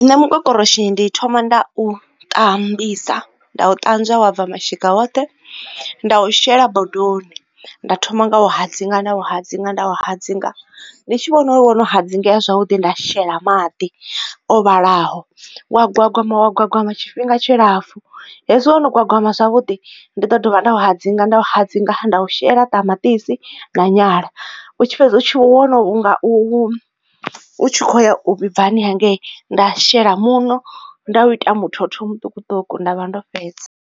Nṋe mukokoroshi ndi thoma nda u ṱambisa, nda u ṱanzwa wa bva mashika oṱhe, nda u shela bodoni nda thoma nga u u hadzinga nda u hadzinga nda u hadzinga. Ndi tshi vhona uri wo no hadzingea zwavhuḓi nda shela maḓi o vhalaho, wa gwagwama wa gwagwama tshifhinga tshi lapfu. Hezwi wo no gwagwama zwavhuḓi, ndi ḓo dovha nda u hadzinga nda u hadzinga nda u shela ṱamaṱisi na nyala. U tshi fhedza u tshi wo no nga u tshi kho u ya u vhibvani hangei, nda shela muṋo, nda u ita muthotho muṱukuṱuku nda vha ndo fhedza.